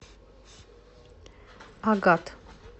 агат